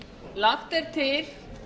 lagt er til